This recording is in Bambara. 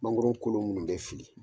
Mangɔron kolo minnu bɛ fili